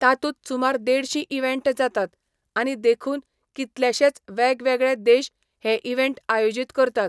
तातूंत सुमार देडशीं इवेंट जातात, आनी देखून, कितलेशेच वेगवेगळे देश हे इवेंट आयोजीत करतात.